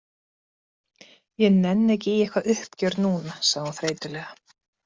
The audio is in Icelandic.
Ég nenni ekki í eitthvað uppgjör núna, sagði hún þreytulega.